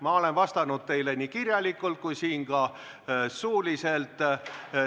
Ma olen vastanud teile nii kirjalikult kui ka siin suuliselt.